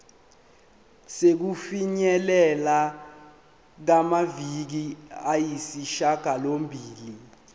sokufinyelela kumaviki ayisishagalombili